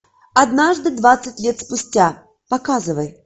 однажды двадцать лет спустя показывай